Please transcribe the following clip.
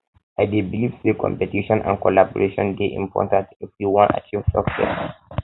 i dey believe say competition and collaboration dey important if we wan achieve success